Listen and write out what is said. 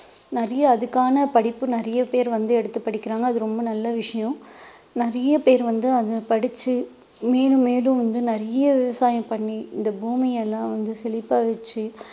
நிறைய அதுக்கான படிப்பு நிறைய பேர் வந்து எடுத்து படிக்கிறாங்க அது ரொம்ப நல்ல விஷயம் நிறைய பேர் வந்து அதை படிச்சு மேலும் மேலும் வந்து நிறைய விவசாயம் பண்ணி இந்த பூமியை எல்லாம் வந்து செழிப்பா வச்சு